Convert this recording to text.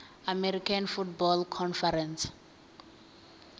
american football conference